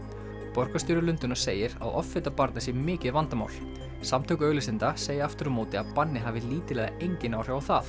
borgarstjóri Lundúna segir að offita barna sé mikið vandamál samtök auglýsenda segja aftur á móti að bannið hafi lítil eða engin áhrif á það